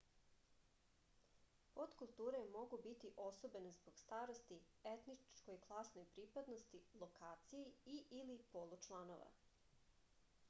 поткултуре могу бити особене због старости етничкој класној припадности локацији и/или полу чланова